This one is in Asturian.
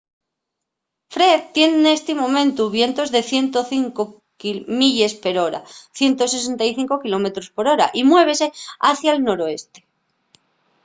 fred tien nesti momentu vientos de 105 milles per hora 165 km/h y muévese hacia’l noroeste